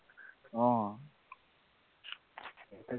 অ